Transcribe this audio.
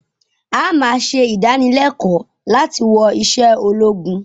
àá máa ṣe ìdánilẹ̀kọ̀ láti wọ̀ ìṣe ológun